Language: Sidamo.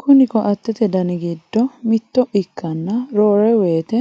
Kuni koattete dani giddo mitto ikkanna roore woyite